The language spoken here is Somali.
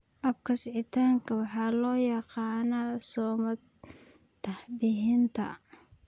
Habka sixitaanka waxa loo yaqaan samatabbixinta trisomy.